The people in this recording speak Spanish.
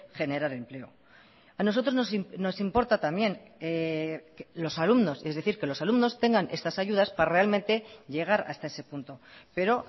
generar empleo a nosotros nos importa también los alumnos es decir que los alumnos tengan estas ayudas para realmente llegar hasta ese punto pero